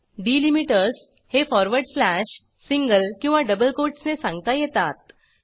delimiters हे forward slash single किंवा double कोटसने सांगता येतात